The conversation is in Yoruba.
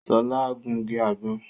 Sola ń gungi àgbọ̀n